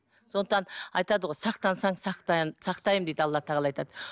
сондықтан айтады ғой сақтансаң сақтаймын дейді алла тағала айтады